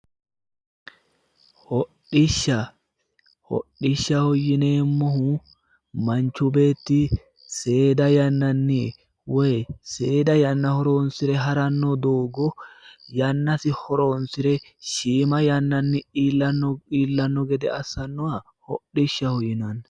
Hodhishsha. Hodhishshaho yineemmohu manchu beetti seeda yannanni woyi seeda yanna horoonsire haranno doogo yannasi horoonsire shiima yannanni iillanno gede assannoha hodhishshaho yinanni.